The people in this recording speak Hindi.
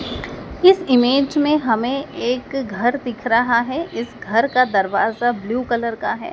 इस इमेज में हमें एक घर दिख रहा है इस घर का दरवाजा ब्लू कलर का है।